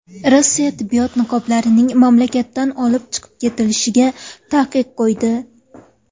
Rossiya tibbiyot niqoblarining mamlakatdan olib chiqib ketilishiga taqiq qo‘ydi.